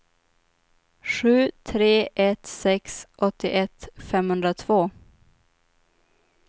sju tre ett sex åttioett femhundratvå